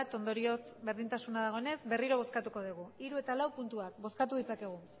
ondorioz berdintasuna dagoenez berriro bozkatuko dugu hiru eta lau puntuak bozkatu dezakegu